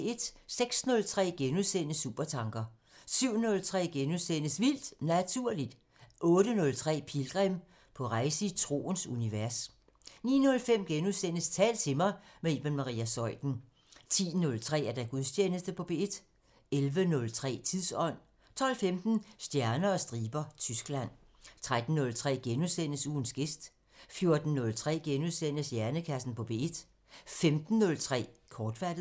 06:03: Supertanker * 07:03: Vildt Naturligt * 08:03: Pilgrim – på rejse i troens univers 09:05: Tal til mig – med Iben Maria Zeuthen * 10:03: Gudstjeneste på P1 11:03: Tidsånd 12:15: Stjerner og striber – Tyskland 13:03: Ugens gæst * 14:03: Hjernekassen på P1 * 15:03: Kortsluttet